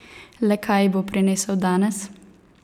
Le kaj ji bo prinesel danes?